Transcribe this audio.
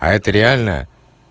а это реальная